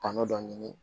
Kan'o dɔ ɲini